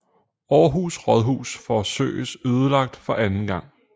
Aarhus Rådhus forsøges ødelagt for anden gang